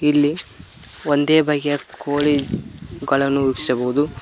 ಇಲ್ಲಿ ಒಂದೇ ಬಗೆಯ ಕೋಳಿ ಗಳನು ವೀಕ್ಷಿಸಬಹುದು.